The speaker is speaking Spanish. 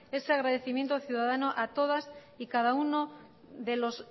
ese agradecimiento ciudadano a todas y cada uno de los